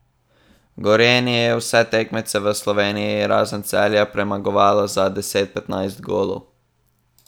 Gorenje je vse tekmece v Sloveniji razen Celja premagovalo za deset, petnajst golov.